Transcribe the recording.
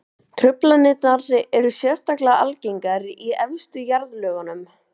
Truflanirnar eru sérstaklega algengar í efstu jarðlögunum.